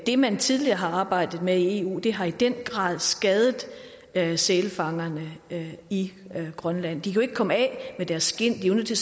det man tidligere har arbejdet med i eu har i den grad skadet skadet sælfangerne i grønland de kunne ikke komme af med deres skind de var nødt til